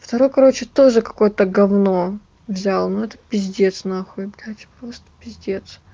второй короче тоже какой-то гавно взял ну это пиздец нахуй блядь просто пиздец